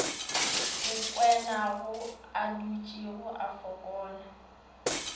go kwenayo adutšego a folaka